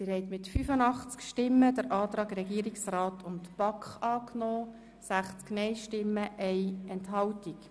Sie haben mit 85 Ja-Stimmen den Antrag Regierungsrat/BaK angenommen gegen 60 Nein-Stimmen und 1 Enthaltung.